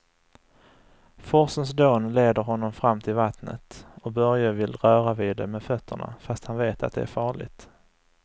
Forsens dån leder honom fram till vattnet och Börje vill röra vid det med fötterna, fast han vet att det är farligt.